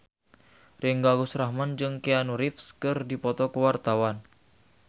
Ringgo Agus Rahman jeung Keanu Reeves keur dipoto ku wartawan